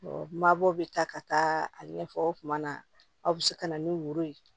mabɔ bɛ taa ka taa a ɲɛfɔ o tuma na aw bɛ se ka na ni woro ye